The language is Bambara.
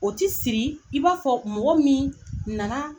O ti siri i b'a fɔ mɔgɔ min nana